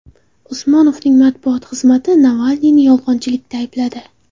Usmonovning matbuot xizmati Navalniyni yolg‘onchilikda aybladi.